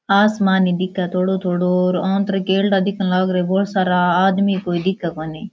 आसमान ही दिखे थोड़ो थोड़ो और आंतरे केल्डा दिखन लाग रया है बोला सारा आदमी कोई दिखे कोणी।